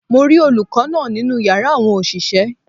Mo rí olùkó náà nínú yàrá àwọn òṣìṣẹ́